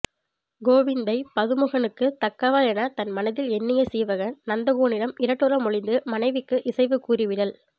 கோவிந்தை பதுமுகனுக்குத் தக்கவள் எனத் தன் மனத்தில் எண்ணிய சீவகன் நந்தகோனிடம் இரட்டுறமொழிந்து மணவினைக்கு இசைவு கூறிவிடல்